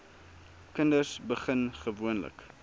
kinders begin gewoonlik